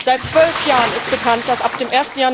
Seit zwölf Jahren ist bekannt, dass ab dem